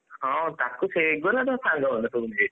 ହଁ ତାକୁ ସେଗୁରା କ ତା ସାଙ୍ଗବୋଧେ ସବୁ ,